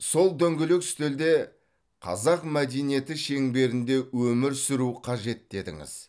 сол дөңгелек үстелде қазақ мәдениеті шеңберінде өмір сүру қажет дедіңіз